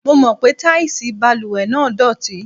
Mo mọ̀ pé táìsì balùwẹ̀ náà dọ̀tí.